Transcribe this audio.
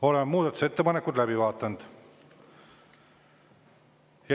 Oleme muudatusettepanekud läbi vaadanud.